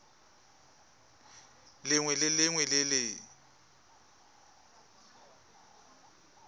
lengwe le lengwe le le